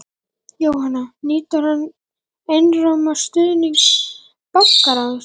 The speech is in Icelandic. Jóhann: Nýtur hann einróma stuðnings bankaráðs?